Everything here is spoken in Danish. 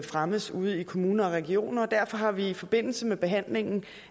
fremmes ude i kommuner og regioner og derfor har vi i forbindelse med behandlingen